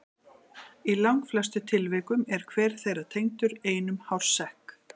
Í langflestum tilvikum er hver þeirra tengdur einum hársekk.